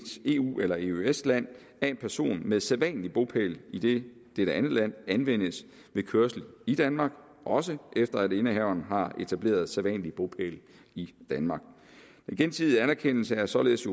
eu eller eøs land af en person med en sædvanlig bopæl i dette andet land anvendes ved kørsel i danmark også efter at indehaveren har etableret sædvanlig bopæl i danmark den gensidige anerkendelse er således